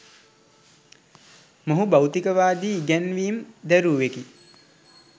මොහු භෞතිකවාදී ඉගැන්වීම් දැරූවෙකි.